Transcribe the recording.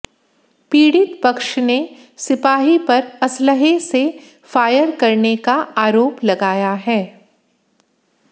पीड़ित पक्ष ने सिपाही पर असलहे से फायर करने का आरोप लगाया है